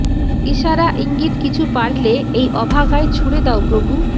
ইশারা ইঙ্গিত কিছু পারলে এই অভাগায় ছুড়ে দাও প্রভু